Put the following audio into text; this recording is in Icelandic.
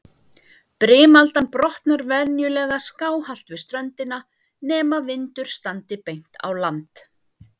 Brimaldan brotnar venjulega skáhallt við ströndina, nema vindur standi beint á land.